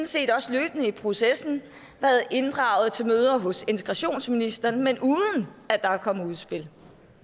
set også løbende i processen været inddraget til møder hos integrationsministeren men uden at der er kommet et udspil